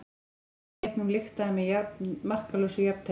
Fyrri leiknum lyktaði með markalausu jafntefli